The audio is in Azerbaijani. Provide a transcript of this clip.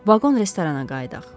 Vaqon restorana qayıdaq.